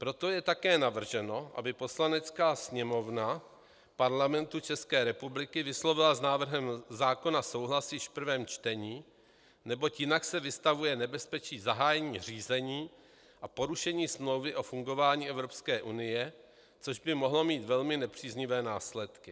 Proto je také navrženo, aby Poslanecká sněmovna Parlamentu České republiky vyslovila s návrhem zákona souhlas již v prvém čtení, neboť jinak se vystavuje nebezpečí zahájení řízení a porušení Smlouvy o fungování Evropské unie, což by mohlo mít velmi nepříznivé následky.